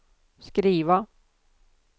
skriva